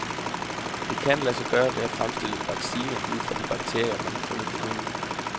Det kan lade sig gøre ved at fremstille en vaccine ud fra de bakterier, man har fundet på hunden.